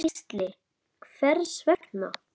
Gísli: Hvers vegna?